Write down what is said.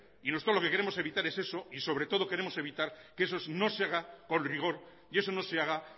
nosotros lo que queremos es evitar es eso y sobre todo queremos evitar que eso no se haga con rigor y eso no se haga